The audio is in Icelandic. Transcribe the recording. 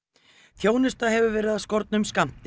þjónusta hefur verið af skornum skammti